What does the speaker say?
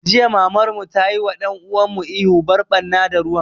Jiya Mamar mu tayi wa ɗan uwan mu ihu 'Bar ɓarna da ruwan'!